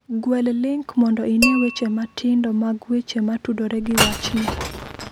Gwel link mondo ine weche matindo mag weche ma tudore gi wachni.